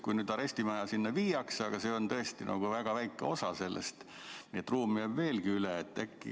Kui nüüd arestimaja sinna viiakse, siis see on tõesti väga väike osa sellest, nii et ruumi jääb ikkagi üle.